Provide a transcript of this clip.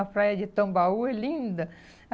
A praia de Tambaú é linda.